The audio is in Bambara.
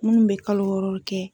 Minnu bɛ kalo wɔrɔli kɛ.